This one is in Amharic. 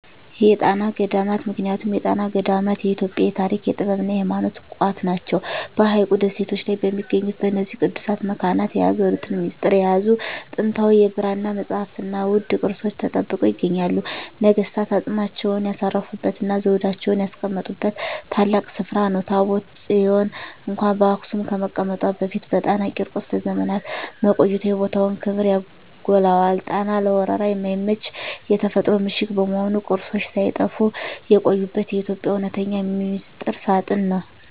የጣና ገዳማት ምክንያቱም የጣና ገዳማት የኢትዮጵያ የታሪክ፣ የጥበብና የሃይማኖት ቋት ናቸው። በሐይቁ ደሴቶች ላይ በሚገኙት በእነዚህ ቅዱሳት መካናት፣ የሀገሪቱን ሚስጥር የያዙ ጥንታዊ የብራና መጻሕፍትና ውድ ቅርሶች ተጠብቀው ይገኛሉ። ነገሥታት አፅማቸውን ያሳረፉበትና ዘውዳቸውን ያስቀመጡበት ታላቅ ስፍራ ነው። ታቦተ ጽዮን እንኳን በአክሱም ከመቀመጧ በፊት በጣና ቂርቆስ ለዘመናት መቆየቷ የቦታውን ክብር ያጎላዋል። ጣና ለወረራ የማይመች የተፈጥሮ ምሽግ በመሆኑ፣ ቅርሶች ሳይጠፉ የቆዩበት የኢትዮጵያ እውነተኛ ሚስጥር ሳጥን ነው።